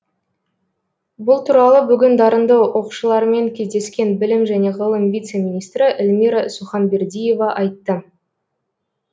бұл туралы бүгін дарынды оқушылармен кездескен білім және ғылым вице министрі эльмира суханбердиева айтты